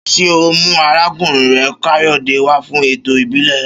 Ṣé ọ mú arákùnrin rẹ Káyòdé wá fún ètò ìbílè